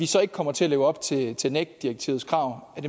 så ikke kommer til at leve op til til nec direktivets krav er